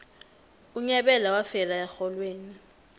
unyabela wafela erholweni